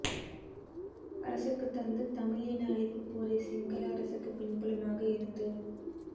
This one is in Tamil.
அரசுக்குத் தந்து தமிழ் இன அழிப்புப் போரை சிங்கள அரசுக்குப் பின்புலமாக இருந்து